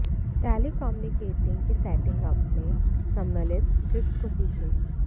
telecommunicating के setting up में सम्मिलित ट्रिक्स को सीखें